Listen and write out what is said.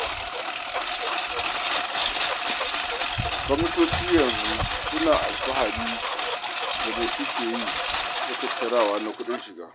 Gwamnatoci yanzu suna alfahiri da me suke iya tattarawa na kuɗin shiga.